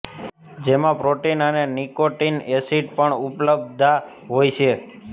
જેમાં પ્રોટીન અને nicotine acid પણ ઉપલબ્ધા હોય છે